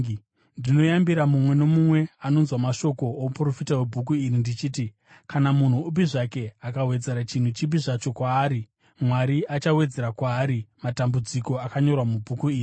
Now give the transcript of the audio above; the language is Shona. Ndinoyambira mumwe nomumwe anonzwa mashoko ouprofita hwebhuku iri ndichiti: Kana munhu upi zvake akawedzera chinhu chipi zvacho kwaari, Mwari achawedzera kwaari matambudziko akanyorwa mubhuku iri.